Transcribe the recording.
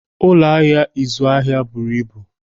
Ụlọ ahịa ịzụ ahịa buru ibu.